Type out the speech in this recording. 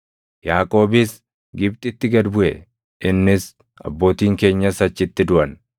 Yaaqoobis Gibxitti gad buʼe; innis, abbootiin keenyas achitti duʼan.